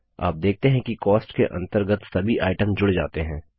आप देखते हैं कि कॉस्ट के अंतर्गत सभी आइटम जुड़ जाते हैं